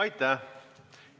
Aitäh!